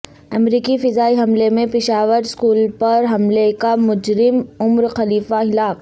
امریکی فضائی حملے میں پشاور اسکول پر حملے کا مجرم عمر خلیفہ ہلاک